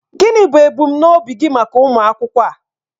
Gịnị bụ ebumnobi gị maka ụmụ akwụkwọ a?